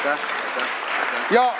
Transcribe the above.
Jaa, sprinter!